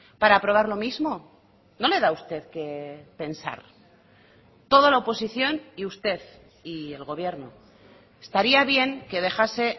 para aprobar lo mismo no le da a usted qué pensar toda la oposición y usted y el gobierno estaría bien que dejase